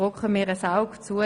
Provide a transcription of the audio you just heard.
Wir drücken ein Auge zu.